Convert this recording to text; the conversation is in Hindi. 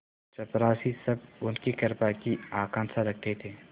चपरासीसब उनकी कृपा की आकांक्षा रखते थे